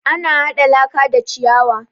Ana haɗa laka da ciyawa